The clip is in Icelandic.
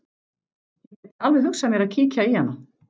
Ég gæti alveg hugsað mér að kíkja í hana.